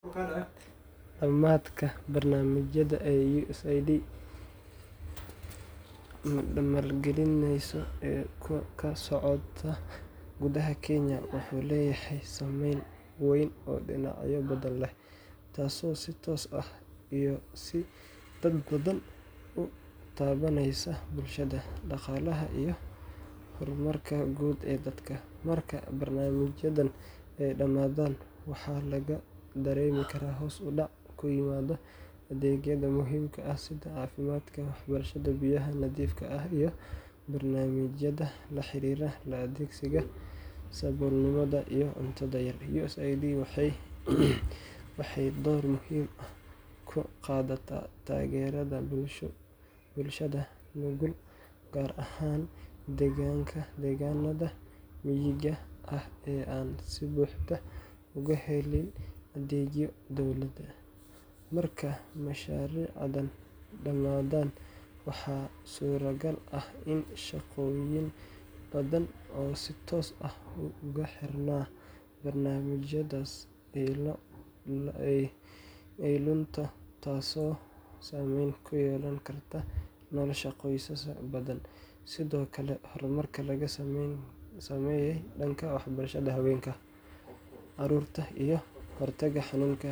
Dhammaadka barnaamijyada ay USAID maalgelinayso ee ka socda gudaha Kenya wuxuu leeyahay saameyn weyn oo dhinacyo badan leh, taasoo si toos ah iyo si dadbanba u taabaneysa bulshada, dhaqaalaha, iyo horumarka guud ee dalka. Marka barnaamijyadan ay dhamaadaan, waxa laga dareemi karaa hoos u dhac ku yimaada adeegyada muhiimka ah sida caafimaadka, waxbarashada, biyaha nadiifta ah, iyo barnaamijyada la xiriira la-dagaalanka saboolnimada iyo cunto yari. USAID waxay door muhiim ah ka qaadataa taageerada bulshada nugul, gaar ahaan deegaanada miyiga ah ee aan si buuxda uga helin adeegyo dowladda. Marka mashaariicdani dhammaadaan, waxaa suuragal ah in shaqooyin badan oo si toos ah ugu xirnaa barnaamijyadaasi ay lunto, taasoo saameyn ku yeelan karta nolosha qoysas badan. Sidoo kale, horumarka laga sameeyay dhanka waxbarashada haweenka, carruurta, iyo ka hortagga xanunga.